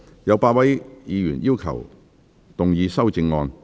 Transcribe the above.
有8位議員要動議修正案。